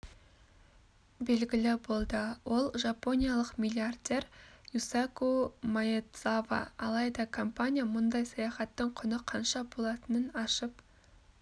белгілі болды ол жапониялық миллиардер юсаку маэдзава алайда компания мұндай саяхаттың құны қанша болатынын ашып